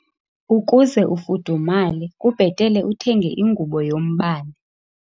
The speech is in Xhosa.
Ukuze ufudumale kubhetele uthenge ingubo yombane.